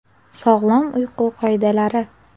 Sog‘lom uyqu qoidalari.